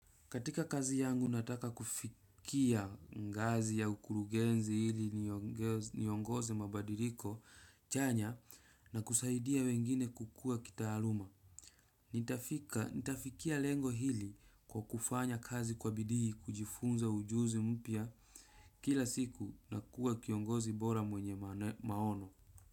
Katika kazi yangu nataka kufikia ngazi ya ukurugenzi ili niongeze mabadiliko chanya na kusaidia wengine kukua kitaaluma. Nitafikia lengo hili kwa kufanya kazi kwa bidii, kujifunza ujuzi mpya kila siku na kuwa kiongozi bora mwenye maono.